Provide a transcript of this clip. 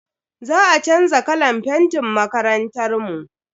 Za a chanza kalan fentin makarantar mu.